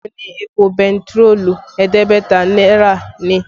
Bẹ́ẹ̀ ni, èpò bentiroolu ẹ̀ẹ́dẹ́gbẹ̀ta náírà ni